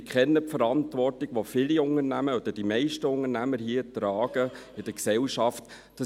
Ich kenne die Verantwortung, die viele, oder die meisten, Unternehmer in der Gesellschaft tragen.